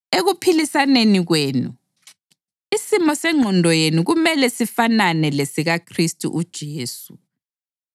Ekuphilisaneni kwenu, isimo sengqondo yenu kumele sifanane lesikaKhristu uJesu,